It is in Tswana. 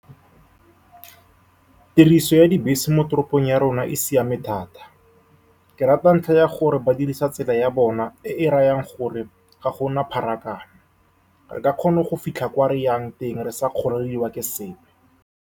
Tiriso ya dibese mo toropong ya rona e siame thata. Ke rata ntlha ya gore ba dirisa tsela ya bona, e e rayang gore ga gona pharakano. Re ka kgona go fitlha ko reyang teng re sa kgorelediwa ke sepe.